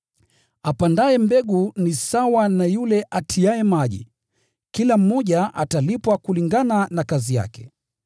Apandaye mbegu ana lengo sawa na yule atiaye maji na kila mmoja atalipwa kulingana na kazi yake.